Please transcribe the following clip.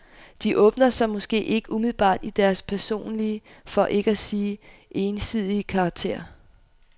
De åbner sig måske ikke umiddelbart i deres personlige, for ikke at sige egensindige karakter.